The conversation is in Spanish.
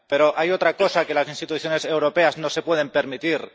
Pero hay otra cosa que las instituciones europeas no se pueden permitir.